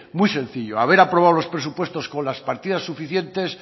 muy sencillo haber aprobado los presupuesto con las partidas suficientes